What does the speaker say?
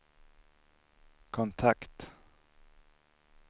kontakt